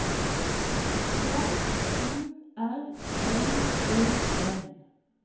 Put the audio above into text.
H U R L E N